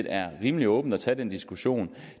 er rimelig åbent at tage den diskussion